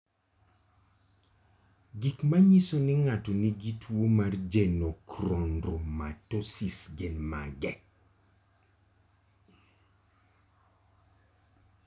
Gik manyiso ni ng'ato nigi tuwo mar Genochondromatosis gin mage?